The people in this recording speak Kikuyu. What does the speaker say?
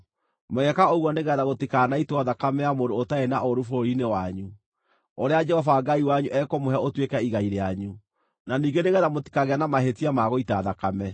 Mũgeeka ũguo nĩgeetha gũtikanaitwo thakame ya mũndũ ũtarĩ na ũũru bũrũri-inĩ wanyu, ũrĩa Jehova Ngai wanyu ekũmũhe ũtuĩke igai rĩanyu, na ningĩ nĩgeetha mũtikagĩe na mahĩtia ma gũita thakame.